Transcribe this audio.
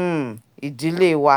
um idílé wa